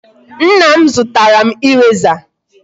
Nna m zụtara m eraser.